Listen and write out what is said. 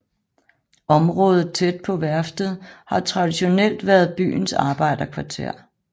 Området tæt på værftet har traditionelt været byens arbejderkvarter